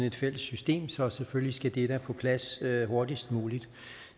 et fælles system så selvfølgelig skal det da på plads hurtigst muligt